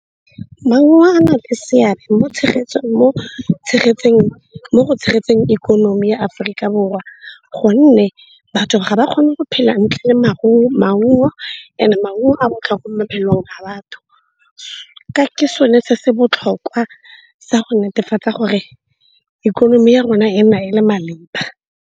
Maungo a na le seabe mo go tshegetseng ikonomi ya Aforika Borwa gonne batho ga ba kgone go phela ntle le maungo. And-e maungo a botlhokwa mo maphelong ka batho, ke sone se se botlhokwa sa go netefatsa gore ikonomi ya rona e nna e le maleba.